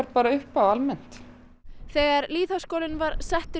bara upp á almennt lýðháskólinn var settur